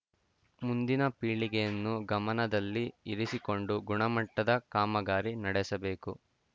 ಮುಂದಿನ ಪೀಳಿಗೆಯನ್ನು ಗಮನದಲ್ಲಿ ಇರಿಸಿಕೊಂಡು ಗುಣಮಟ್ಟದ ಕಾಮಗಾರಿ ನಡೆಸಬೇಕು